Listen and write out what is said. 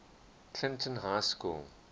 clinton high school